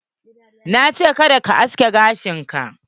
Nace kada kayi aske gashin ka!